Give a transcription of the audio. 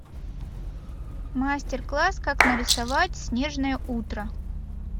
мастер класс как нарисовать снежное утро